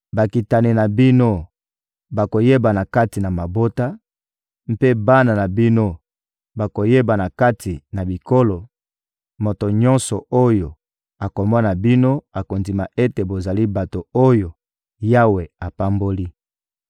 Bakitani na bino bakoyebana kati na mabota, mpe bana na bino bakoyebana kati na bikolo; moto nyonso oyo akomona bino akondima ete bozali bato oyo Yawe apamboli.